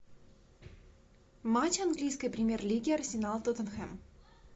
матч английской премьер лиги арсенал тоттенхэм